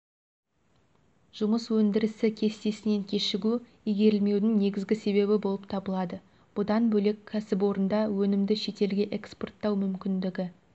жұмыс өндірісі кестесінен кешігу игерілмеудің негізгі себебі болып табылады бұдан бөлек кәсіпорында өнімді шетелге экспорттау мүмкіндігі